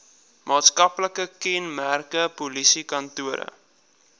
maatskaplike kenmerke polisiekantore